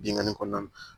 Bingani kɔnɔna na